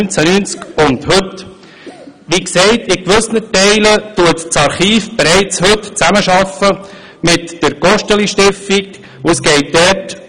Wie gesagt, arbeitet dieses Archiv heute bereits in gewissen Teilen mit der Gosteli-Stiftung zusammen.